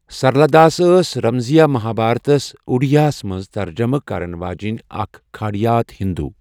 سرلا داس ٲس رمضیہ مہا بھارتس اُڈیاہس منز ترجمہٕ كرن واجیٚنۍ اكھ كھاڈیات ہِندوٗ ۔